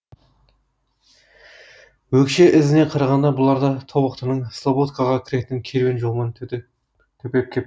өкше ізіне қарағанда бұлар да тобықтының слободкаға кіретін керуен жолымен төпеп кепті